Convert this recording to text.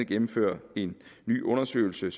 gennemføre en ny undersøgelse